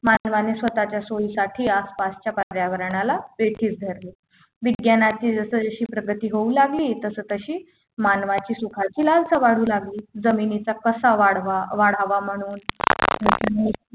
मानवाने स्वतःच्या सोयीसाठी आसपासच्या पर्यावरणाला वेठीस धरले विज्ञानाची जशीजशी अशी प्रगती होऊ लागली तशी तशी मानवाची सुखाचे लालसा वाढू लागली जमिनीचा कसा वाढवा वाढवा म्हणून